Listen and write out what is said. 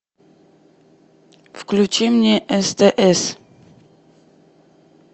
включи мне стс